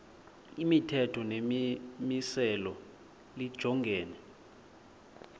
imithetho nemimiselo lijongene